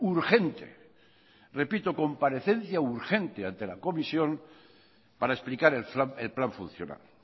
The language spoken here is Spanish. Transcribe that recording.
urgente repito comparecencia urgente ante la comisión para explicar el plan funcional